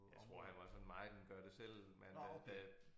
Jeg tror han var sådan meget en gør det selv mand med at